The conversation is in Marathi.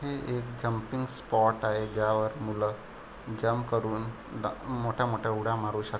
हे एक जम्पिंग स्पॉट आहे ज्यावर मूल जम्प करून मोठ्या मोठ्या उड्या मारू श --